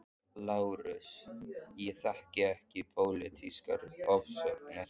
LÁRUS: Ég þekki ekki pólitískar ofsóknir.